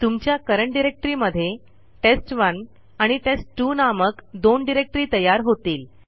तुमच्या current directory मध्ये test1आणि टेस्ट2 नामक दोन डिरेक्टरी तयार होतील